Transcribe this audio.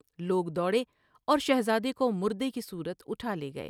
لوگ دوڑے اور شہزادے کو مردے کی صورت اٹھالے گئے ۔